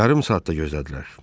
Yarım saat da gözlədilər.